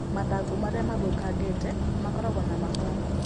Mathangũ marĩa mathũũkangĩte makoragwo na mahũa.